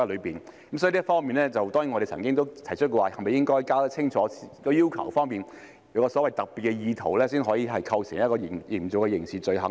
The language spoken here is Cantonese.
所以，就這方面，我們當然提出了是否應該弄清楚相關的要求，必須有所謂的特別意圖，才會構成刑事罪行呢？